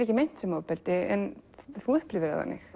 ekki meint sem ofbeldi en þú upplifir það þannig